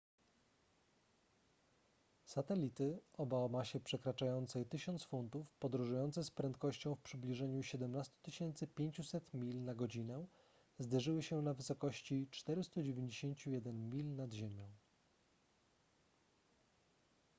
satelity oba o masie przekraczającej 1000 funtów podróżujące z prędkością w przybliżeniu 17 500 mil na godzinę zderzyły się na wysokości 491 mil nad ziemią